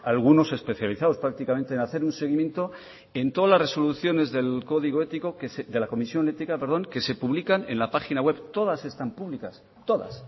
algunos especializados prácticamente en hacer un seguimiento en todas las resoluciones del código ético de la comisión ética perdón que se publican en la página web todas están públicas todas